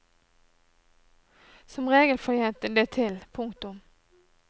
Som regel får jeg det til. punktum